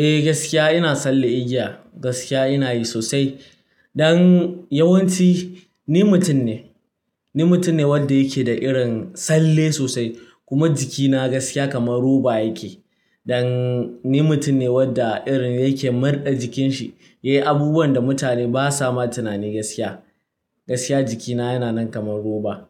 Eh gaskiya ina tsallen igiya, gaskiya ina yi sosai. Dan yawanci ni mutum ne, ni mutum ne wanda yake da irin tsalle sosai kuma jikina gaskiya kamar roba yake. Dan ni mutum ne wanda irin yake murɗa jikin shi, yayi abubuwan da mutane ba sa ma tunani gaskiya. Gaskiya jikina yana nan kamar roba.